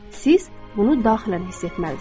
Siz bunu daxilən hiss etməlisiz.